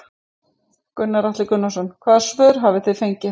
Gunnar Atli Gunnarsson: Hvaða svör hafi þið fengið?